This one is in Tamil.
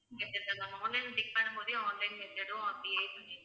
online ல பண்ணும் போதே online method ம் அப்படியே பண்ணி~